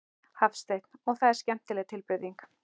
Hafsteinn: Og það er skemmtileg tilbreyting?